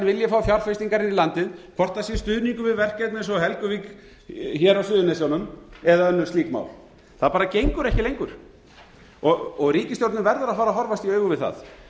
vilji fá fjárfestingar inn í landið hvort það sé stuðningur við verkefni eins og helguvík hér á suðurnesjunum eða önnur slík mál það bara gengur ekki lengur ríkisstjórnin verður að fara að horfast í augu við það